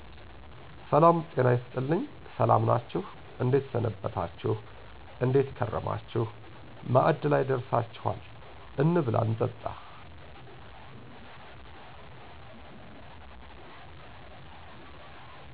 ሰላም "ጤና ይስጥልኝ" ሰላም ናችሁ እንዴት ሰነበታችሁ : እንዴት ከረማችሁ ማዕድ ላይ ደርሳችኋል እንብላ እንጠጣ